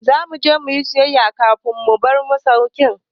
Za mu je mu yi sayayya a kanti kafin mu bar masaukin.